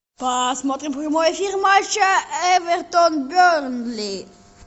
посмотрим прямой эфир матча эвертон бернли